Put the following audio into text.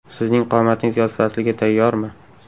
Sizning qomatingiz yoz fasliga tayyormi?